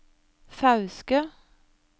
Fauske